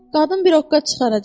Qadın bir oqqa çıxaracaq.